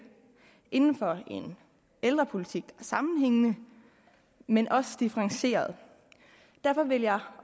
inden for en ældrepolitik der sammenhængende men også differentieret derfor vil jeg